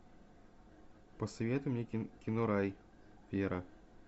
посоветуй мне кино рай вера